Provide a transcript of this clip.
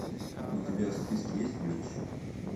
у тебя в списке есть блич